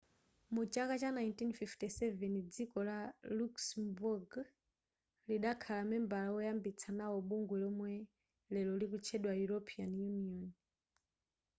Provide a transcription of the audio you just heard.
mu chaka cha 1957 dziko la luxembourg lidakhala membala woyambitsa nawo bungwe lomwe lero likutchedwa european union